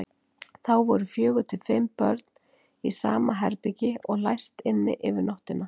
Þá voru fjögur til fimm börn í sama herbergi og læst inni yfir nóttina.